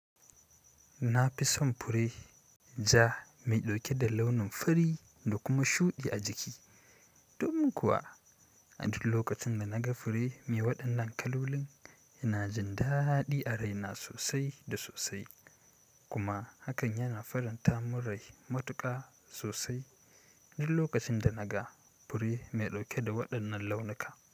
Na fi son fure ja mai ɗauke da launin fari da kuma shuɗi a jiki. Domin kuwa a duk lokacin da naga fure mai waɗannan kalolin, yana jin daɗi a raina sosai da sosai. Kuma hakan yana faranta mun rai matuƙa sosai, duk lokacin da naga fure mai ɗauke da waɗannan launuka.